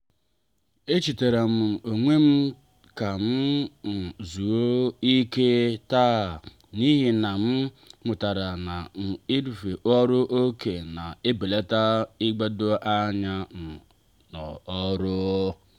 echetaram um onwem ka m um zuo ike taa n'ihi na m mụtara na irufe ọrụ oké na-ebelata igbado anya um n'ọrụ.